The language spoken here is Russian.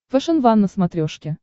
фэшен ван на смотрешке